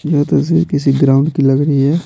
यह तस्वीर किसी ग्राउंड की लग रही है।